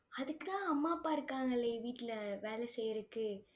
அதுக்குத்தான் அம்மா, அப்பா இருக்காங்களே வீட்டுல வேலை செய்யறதுக்கு